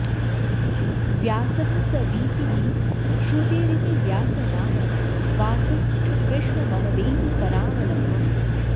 व्यासः स वीति हि श्रुतेरिति व्यासनामन् वासिष्ठकृष्ण ममदेहि करावलम्बम्